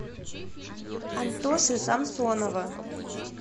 антоши самсонова